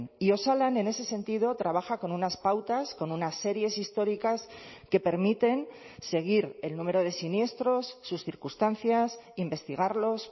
y osalan en ese sentido trabaja con unas pautas con unas series históricas que permiten seguir el número de siniestros sus circunstancias investigarlos